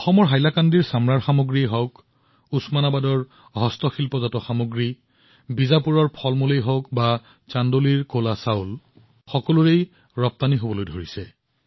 অসমত হাইলাকান্দিৰ চামৰাৰ সামগ্ৰী হওঁক বা ওচমানাবাদৰ হস্ততাঁত সামগ্ৰীয়েই হওক বিজাপুৰৰ ফল আৰু পাচলি হওক বা চান্দৌলীৰ কলা চাউলেই হওক সকলোৰে ৰপ্তানি বৃদ্ধি পাইছে